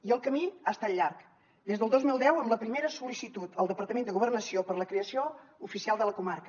i el camí ha estat llarg des del dos mil deu amb la primera sol·licitud al departament de governació per a la creació oficial de la comarca